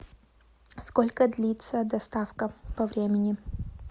сколько длится доставка по времени